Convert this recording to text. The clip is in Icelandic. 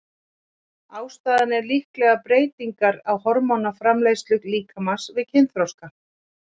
Ástæðan er líklega breytingar á hormónaframleiðslu líkamans við kynþroska.